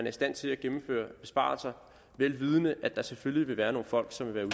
i stand til at gennemføre besparelser vel vidende at der selvfølgelig vil være nogle folk som vil